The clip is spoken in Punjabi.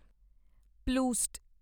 ਪਲੂਸਟ